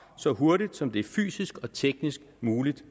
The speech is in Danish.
så hurtigt som det er fysisk og teknisk muligt